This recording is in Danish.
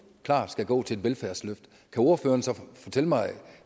klart skal gå til velfærdsløft kan ordføreren så fortælle mig